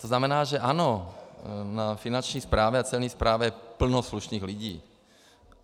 To znamená, že ano, na finanční správě a celní správě je plno slušných lidí.